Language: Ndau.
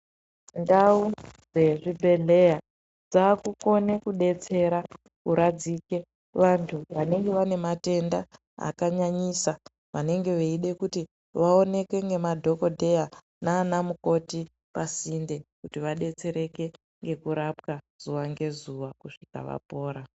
Ndau dzezvibhedhleya dzakukone kudetsera kuradzike vantu vanenge vane matenda akanyanyisa vanenge veide kuti vaoneke nemadhogodheya nana mukoti pasinde. Kuti vadetsereke ngekurapwa zuwa ngezuwa kusvika vapora.